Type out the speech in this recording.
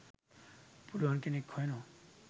පුළුවන් කෙනෙක් හොයනවා.